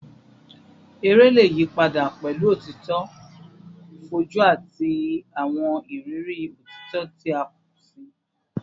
Ere le yipada pẹlu otito foju ati awọn iriri otito ti a pọ si